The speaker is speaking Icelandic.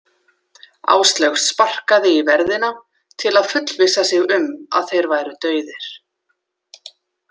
Áslaug sparkaði í verðina til að fullvissa sig um að þeir væru dauðir.